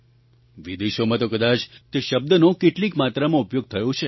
વિદેશોમાં તો કદાચ તે શબ્દ કેટલીક માત્રામાં ઉપયોગ થયો છે